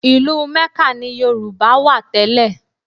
Ìlú Ḿẹ́kà ni Yorùbá wà tẹ́lẹ̀